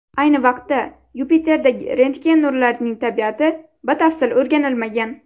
Ayni vaqtda Yupiterdagi rentgen nurlarining tabiati batafsil o‘rganilmagan.